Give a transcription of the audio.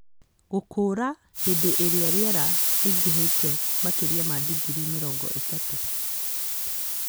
Gũkũra hĩndĩ ĩrĩa rĩera rĩingĩhĩte makĩria ma digirii mĩrongo ĩtatũ.